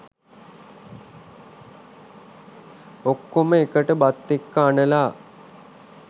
ඔක්කොම එකට බත් එක්ක අනලා